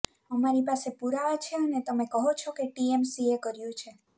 અમારી પાસે પુરાવા છે અને તમે કહો છો કે ટીએમસીએ કર્યું છે